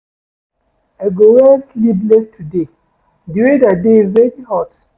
I go wear sleevless today, di weather dey very hot.